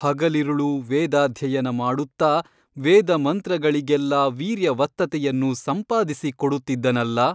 ಹಗಲಿರುಳೂ ವೇದಾಧ್ಯಯನ ಮಾಡುತ್ತ ವೇದಮಂತ್ರಗಳಿಗೆಲ್ಲ ವೀರ್ಯವತ್ತತೆಯನ್ನು ಸಂಪಾದಿಸಿ ಕೊಡುತ್ತಿದ್ದನಲ್ಲಾ?